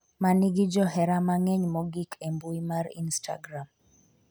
manigi johera mang'eny mogik e mbui mar instagram,